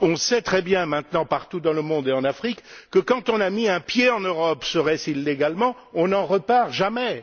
on sait très bien maintenant partout dans le monde et en Afrique que lorsqu'on a mis un pied en Europe, serait ce illégalement, on n'en repart jamais.